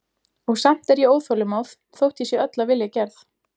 Og samt er ég óþolinmóð þótt ég sé öll af vilja gerð.